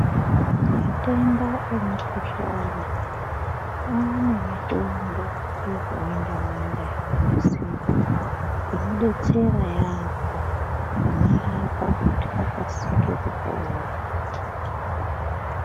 Matenda nemukuhlana ane mitombo yakawanda wanda yakanasirwa inodetsera yamho kumarapa kuti akasike kupora.